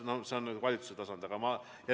Ent see on valitsuse tasand.